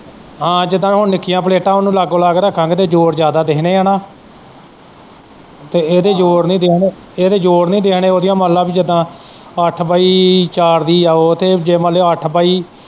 ਅਹੋ ਜਿੱਦਾ ਹੁਣ ਨਿੱਕੀਆਂ ਪਲੇਟਾਂ ਨਾ ਉਹਨੂੰ ਲਾਗੋ-ਲੱਗ ਰੱਖਾਗੇ ਤੇ ਜੋੜ ਜ਼ਿਆਦਾ ਦਿੱਖਣੇ ਆ ਨਾ ਇਹਦੇ ਜੋੜ ਨੀ ਦਿੱਖਣੇ ਉਹਦੀਆਂ ਮੰਨ ਲੈ ਅੱਠ ਪਾਈ ਚਾਰ ਦੀ ਏ ਉਹ ਤੇ ਮਤਲਬ ਜੇ ਅੱਠ ਪਾਈ।